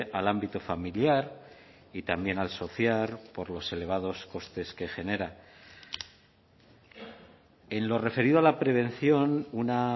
al ámbito familiar y también al social por los elevados costes que genera en lo referido a la prevención una